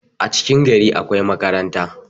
a cikin gari akwai makaranta